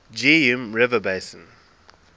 geum river basin